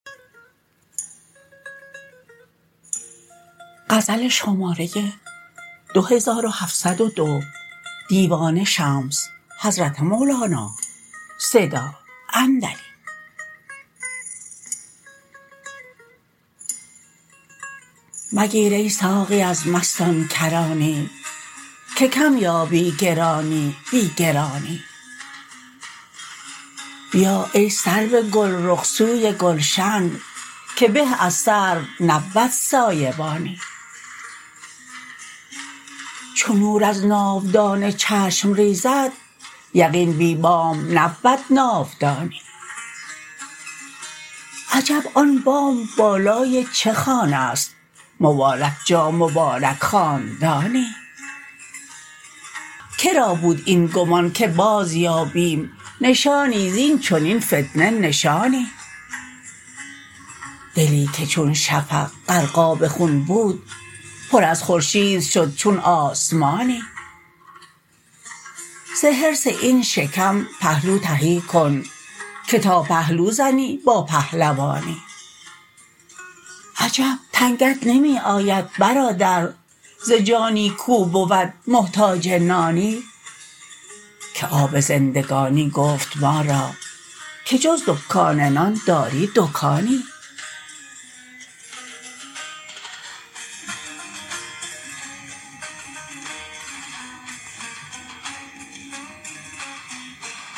مگیر ای ساقی از مستان کرانی که کم یابی گرانی بی گرانی بیا ای سرو گلرخ سوی گلشن که به از سرو نبود سایه بانی چو نور از ناودان چشم ریزد یقین بی بام نبود ناودانی عجب آن بام بالای چه خانه ست مبارک جا مبارک خاندانی که را بود این گمان که بازیابیم نشانی زین چنین فتنه نشانی دلی که چون شفق غرقاب خون بود پر از خورشید شد چون آسمانی ز حرص این شکم پهلو تهی کن که تا پهلو زنی با پهلوانی عجب ننگت نمی آید برادر ز جانی کو بود محتاج نانی که آب زندگانی گفت ما را که جز دکان نان داری دکانی